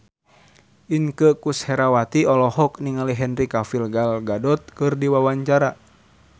Inneke Koesherawati olohok ningali Henry Cavill Gal Gadot keur diwawancara